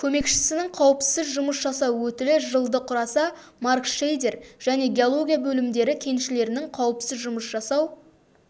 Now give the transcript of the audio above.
көмекшісінің қауіпсіз жұмыс жасау өтілі жылды құраса маркшейдер және геология бөлімдері кеншілерінің қауіпсіз жұмыс жасау